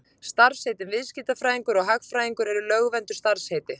Starfsheitin viðskiptafræðingur og hagfræðingur eru lögvernduð starfsheiti.